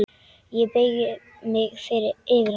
Ég beygi mig yfir hana.